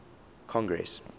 congress